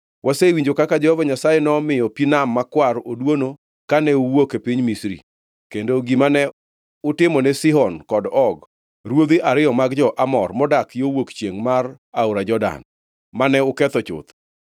Wasewinjo kaka Jehova Nyasaye nomiyo pi Nam Makwar oduono kane uwuok e piny Misri, kendo gima ne utimone Sihon kod Og, ruodhi ariyo mag jo-Amor modak yo wuok chiengʼ mar aora Jordan, mane uketho chuth.